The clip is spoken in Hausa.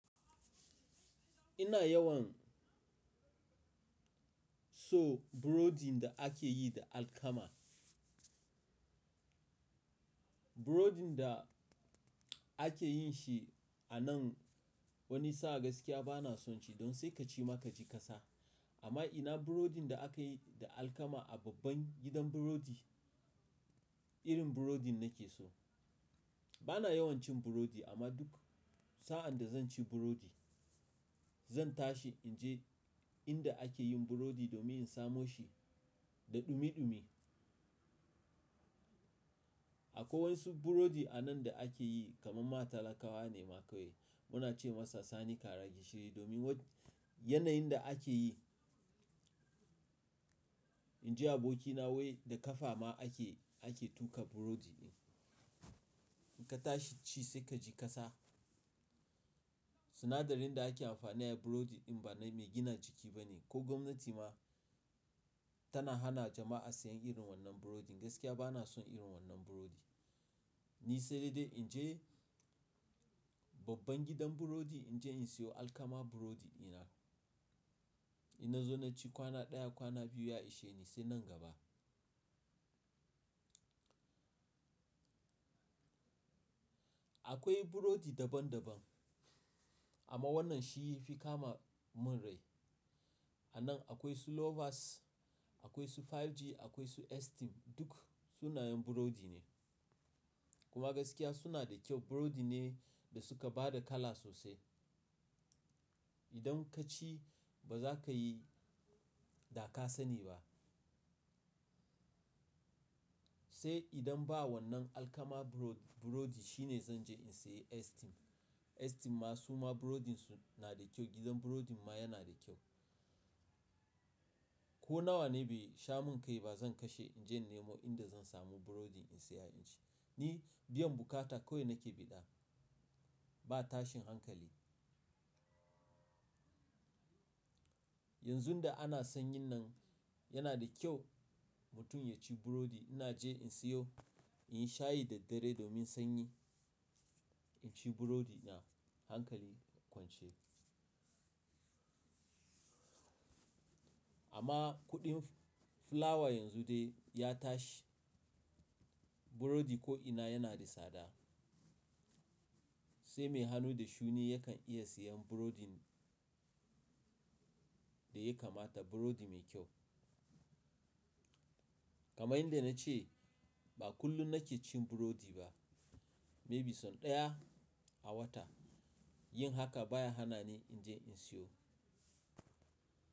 Ina yawan so burodin da ake yi da alkama. Burodin da ake yin shi a nan wani sa'a gaskiya ba na son shi. Don sai ka ci ma ka ji ƙasa. Amma ina burodi da aka yi da alkama a babban gidan burodi, irin burodin nake so. Ba na yawan cin burodi amma duk sa'an da zan ci burodi, zan tashi in je inda ake yin burodi domin in samo shi da ɗumi-ɗumi. Akwai wasu burodi a nan da ake yi kamar ma talakawa ne ma kawai. Muna ce masa sani kara gishiri domin yanayin da ake yi. In ji abokina wai da ƙafa ma ake, ake tuƙa burodi ɗin. In ka tashi ci sai ka ji ƙasa. Sinadarin da ake amfani da shi a burodi ɗin ba na mai gina jiki ba ne. Ko gwamnati ma tana hana jama'a siyan irin wannan burodin. Gaskiya ba na son irin wannan burodi. Ni sai dai in je babban gidan burodi in je in siyo alkama burodi di na Ina zo na ci kwana ɗaya, kwana biyu ya ishe ni sai nan gaba. Akwai burodi daban daban, amma wannan shi fikama mun rai. A nan akwai su Lovers, akwai su 5G, akwai su Esteem, duk sunayen burodi ne. Kuma gaskiya suna da kyau. Burodi ne da suka ba da kala sosai. Idan ka ci ba za ka yi dakasani ba. Sai idan ba wannan alkama burod-burodi shine zan je in sayi Esteem. Esteem ma su ma burodin su na da kyau. Gidan burodin ma yana da kyau. Ko nawa ne bai sha mun kai ba zan kashe in je nemo inda zan samu burodi in siya in ci. Ni biyan bukata kawai nake bi da. Ba tashin hankali. Yanzun da ana sanyi nan yana da kyau mutum ya ci burodi. Ina je in siyo, in sha yi da dabiredi domin sanyi. In ci burodi na hankali kwance. Amma kuɗin fulawa yanzu dai ya tashi. Burodi ko'ina yana da tsada. Sai mai hannu da shuni yakan iya siyan burodin da ya kamata, burodi mai kyau. Kamar yanda na ce ba kullum nake cin burodi ba. Maybe sau ɗaya a wata. Yin haka baya hana ni in je in siyo.